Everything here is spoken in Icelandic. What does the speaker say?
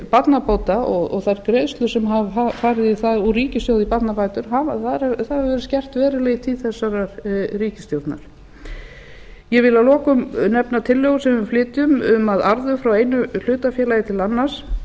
barnabóta og þær greiðslur sem hafa farið í það úr ríkissjóði í barnabætur það hefur verið gert verulega í tíð þessarar ríkisstjórnar ég vil að lokum nefna tillögu sem við flytjum um að arður frá einu hlutafélagi til annars